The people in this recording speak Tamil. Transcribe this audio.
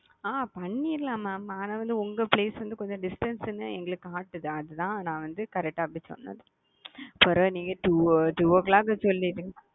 அ பண்ணிருலாம் mam ஆனா வந்து உங்க place வந்து distance னு எங்களுக்கு காட்டுது அதுதான் நான் வந்து correct டா அப்படி சொன்னது. பரவயில்லையே two o clock சொன்னீங்க